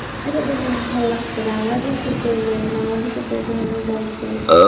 এটা দেখলাম ভাল লাগসে বাংলাদেশ হিসাবে বাংলাদেশে তো এই ধরনের গল্প